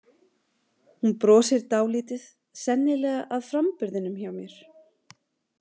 Hún brosir dálítið, sennilega að framburðinum hjá mér.